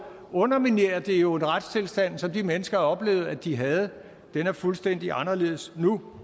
underminerer det jo en retstilstand som de mennesker har oplevet at de havde den er fuldstændig anderledes nu